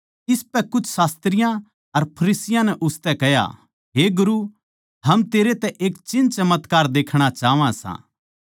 इसपै कुछ शास्त्रियाँ अर फरिसियाँ नै उसतै कह्या हे गुरू हम तेरै तै एक चिन्हचमत्कार देखणा चाहवां सा